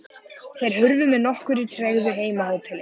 Þeir hurfu með nokkurri tregðu heim á hótelið.